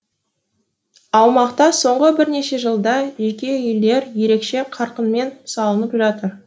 аумақта соңғы бірнеше жылда жеке үйлер ерекше қарқынмен салынып жатыр